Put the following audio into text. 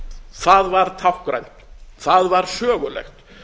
það var táknrænt það var sögulegt